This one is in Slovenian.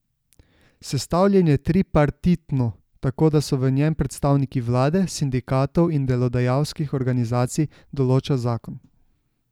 Sestavljen je tripartitno, tako da so v njem predstavniki vlade, sindikatov in delodajalskih organizacij, določa zakon.